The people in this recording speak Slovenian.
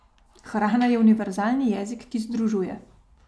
Hrana je univerzalni jezik, ki združuje.